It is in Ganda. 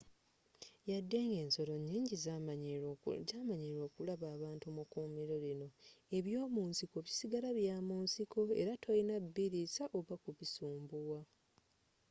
yadde nga ensolo nyingi zamanyiilwa okulaba abantu mukuumiro lino ebyomunsiko bisigala byamunsiiko era tolina biriisa oba okubisumbuwa